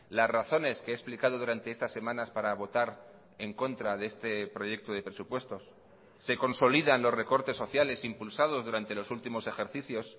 las razones que he explicado durante estas semanas para votar en contra de este proyecto de presupuestos se consolidan los recortes sociales impulsados durante los últimos ejercicios